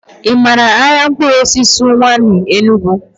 I maara ahịa mkpụrụosisi Ụwanị, Enugu?